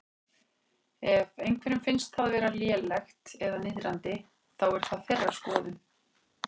Ef einhverjum finnst það vera lélegt eða niðrandi, þá er það þeirra skoðun.